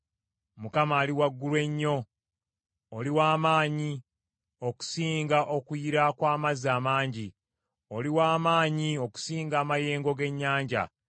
Mukama , Ali Waggulu Ennyo, oli wa maanyi okusinga okuyira kw’amazzi amangi; oli wa maanyi okusinga amayengo g’ennyanja.